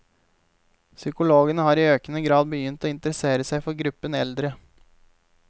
Psykologene har i økende grad begynt å interessere seg for gruppen eldre.